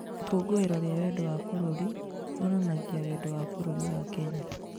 Ikũngũĩro rĩa wendo wa bũrũri rĩonanagia wendo wa bũrũri wa Kenya.